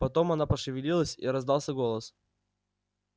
потом она пошевелилась и раздался голос